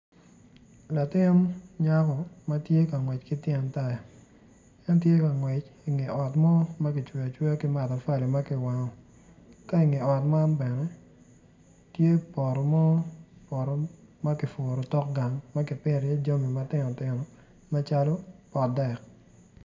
Ltin nyako ma tye ka ngwec ki tyen taya en tye ka ngec i nget ot mo ma kicweyo ki matafali ma pe kiwango ka i nge ot man bene tye poto mo poto ma kipito iye jami mpogo acalo potdek.